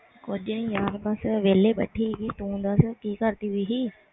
ਕੁਛ ਨਹੀਂ ਯਾਰ ਬਸ ਵਹਿਲੇ ਬੈਠੇ ਸੀ ਤੂੰ ਦਸ ਕਿ ਕਰਦੀ ਪਈ ਸੀ